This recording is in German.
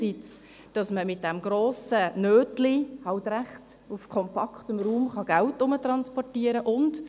Etwa, dass man mit diesem grossen Geldschein auf kompaktem Raum Geld transportieren kann.